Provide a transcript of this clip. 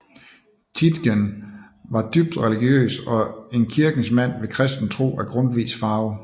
Tietgen var dybt religiøs og en kirkens mand med kristen tro af Grundtvigs farve